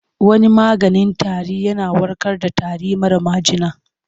Wani maganin tarin yana warkar da tari mara majina.